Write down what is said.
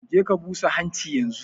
Je ka busa hanchi yanzun!